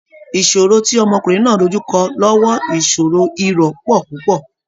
Ìṣòro tí ọmọkùnrin náà dojú kọ lọ́wọ́ ìṣòro-irọ̀ pọ̀ púpọ̀